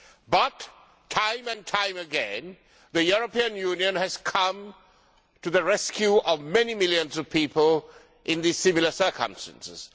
But, time and time again, the European Union has come to the rescue of many millions of people in similar circumstances.